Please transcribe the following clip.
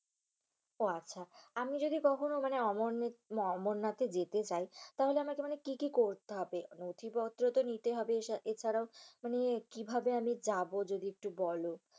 উহ আচ্ছা। আমি যদি কখনো মানে অমরনাথ অমরনাথে যেতে চাই তাহলে আমাকে মানে কি কি করতে হবে? নথিপত্রতো নিতে হবে, এছাড়াও মানে কিভাবে আমি যাব যদি একটু বলো।